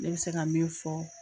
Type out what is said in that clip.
Ne bɛ se ka min fɔ